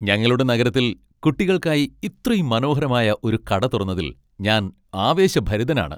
ഞങ്ങളുടെ നഗരത്തിൽ കുട്ടികൾക്കായി ഇത്രയും മനോഹരമായ ഒരു കട തുറന്നതിൽ ഞാൻ ആവേശഭരിതനാണ്.